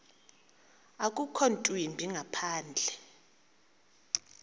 akukho ntwimbi ngaphandle